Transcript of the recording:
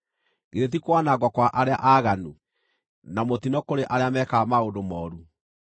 Githĩ ti kwanangwo kwa arĩa aaganu, na mũtino kũrĩ arĩa meekaga maũndũ mooru?